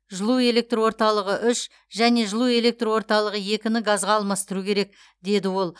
жылу электр орталығы үш және жылу электр орталығы екіні газға алмастыру керек деді ол